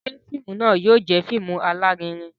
Ṣe fíìmù náà yóò jẹ fíìmù alarinrin?